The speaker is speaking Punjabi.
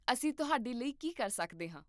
ਅਸੀਂ ਤੁਹਾਡੇ ਲਈ ਕੀ ਕਰ ਸਕਦੇ ਹਾਂ?